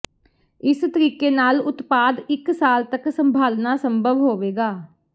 ਇਸ ਤਰੀਕੇ ਨਾਲ ਉਤਪਾਦ ਇੱਕ ਸਾਲ ਤਕ ਸੰਭਾਲਣਾ ਸੰਭਵ ਹੋਵੇਗਾ